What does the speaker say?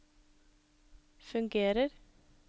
fungerer